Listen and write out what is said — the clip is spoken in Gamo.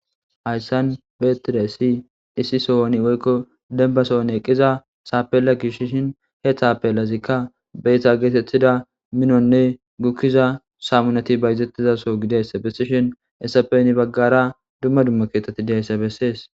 Hayssan betide si issi sohoni woykko denba sohon eqqiza saapella gishshin heethaapelazikka beytha geetetida minonne gukkiza saamunati bayzettizaso gideys bessishin essapeni baggara dumma dumma keetetti deyssa bessees.